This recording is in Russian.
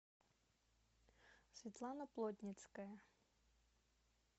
светлана плотницкая